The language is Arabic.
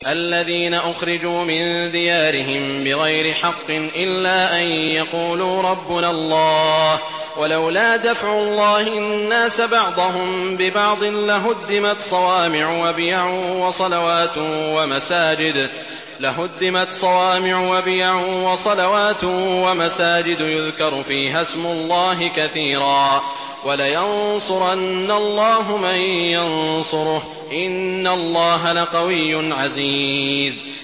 الَّذِينَ أُخْرِجُوا مِن دِيَارِهِم بِغَيْرِ حَقٍّ إِلَّا أَن يَقُولُوا رَبُّنَا اللَّهُ ۗ وَلَوْلَا دَفْعُ اللَّهِ النَّاسَ بَعْضَهُم بِبَعْضٍ لَّهُدِّمَتْ صَوَامِعُ وَبِيَعٌ وَصَلَوَاتٌ وَمَسَاجِدُ يُذْكَرُ فِيهَا اسْمُ اللَّهِ كَثِيرًا ۗ وَلَيَنصُرَنَّ اللَّهُ مَن يَنصُرُهُ ۗ إِنَّ اللَّهَ لَقَوِيٌّ عَزِيزٌ